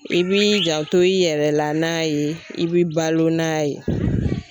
I b'i janto i yɛrɛ la n'a ye, i b'i balo n'a ye.